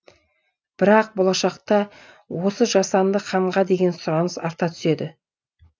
бірақ болашақта осы жасанды қанға деген сұраныс арта түседі